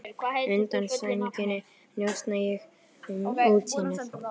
Undan sænginni njósna ég um útsýnið.